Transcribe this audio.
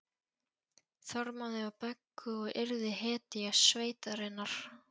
Þormóði og Beggu og yrði hetja sveitarinnar.